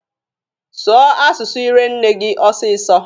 Sụọ asụsụ ire nne gị ọsịsọ!